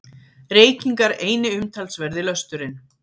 Reykingar eini umtalsverði lösturinn.